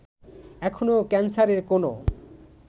এখনো ক্যান্সারের কোনো